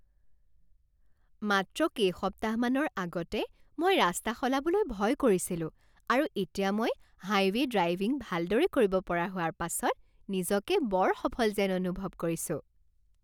মাত্ৰ কেইসপ্তাহমানৰ আগতে মই ৰাস্তা সলাবলৈ ভয় কৰিছিলোঁ আৰু এতিয়া মই হাইৱে' ড্ৰাইভিঙ ভালদৰে কৰিব পৰাৰ হোৱাৰ পাছত নিজকে বৰ সফল যেন অনুভৱ কৰিছোঁ!